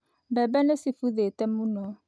Mbembe nĩ cibuthĩte mũno.